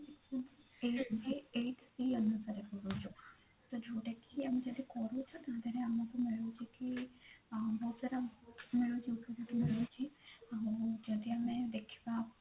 eight B ଅନୁସାରେ ଯଦି ଆମେ ଯୋଉଟା କରୁଛୁ ତାଧିଅରେ ଆମକୁ ମିଳୁଛି କି ବହୁତ ସାରା ମିଳୁଛି ଆଉ ଯଦି ଆମେ ଦେଖିବା